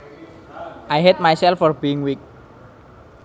I hate myself for being weak